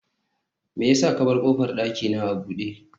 me yasa ka bar kofar dakina a bude